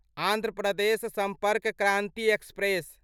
Andhra Pradesh Sampark Kranti express